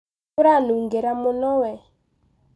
Ũranungira mũno we